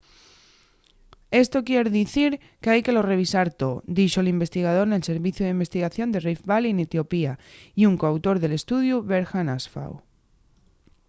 esto quier dicir qu’hai que lo revisar too” dixo l’investigador nel serviciu d’investigación de rift valley n’etiopía y un co-autor del estudiu berhane asfaw